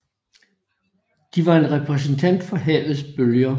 De var en repræsentation af havets bølger